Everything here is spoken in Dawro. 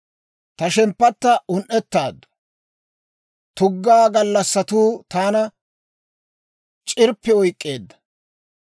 «Ta shemppatta un"etaaddu; tuggaa gallassatuu taana c'irppi oyk'k'eedda.